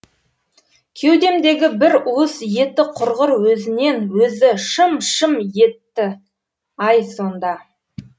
кеудемдегі бір уыс еті құрғыр өзінен өзі шым шым етті ай сонда